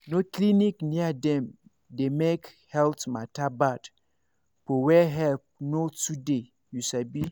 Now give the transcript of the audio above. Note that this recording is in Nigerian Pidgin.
no clinic near dem dey make health matter bad for where help no too dey you sabi